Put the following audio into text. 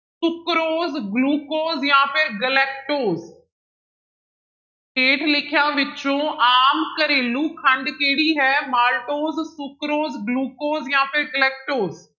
Sucrose, glucose ਜਾਂ ਫਿਰ galactose ਹੇਠ ਲਿਖਿਆਂ ਵਿੱਚੋਂ ਆਮ ਘਰੇਲ ਖੰਡ ਕਿਹੜੀ ਹੈ ਮਾਲਟੋਜ, ਸੁਕਰੋਜ, ਗਲੂਕੋਜ ਜਾਂ ਫਿਰ ਗਲੈਕਟ।